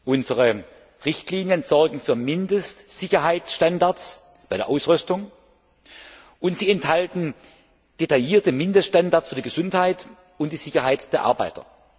Unsere Richtlinien sorgen für Mindestsicherheitsstandards bei der Ausrüstung, und sie enthalten detaillierte Mindeststandards für die Gesundheit und die Sicherheit der Arbeiter.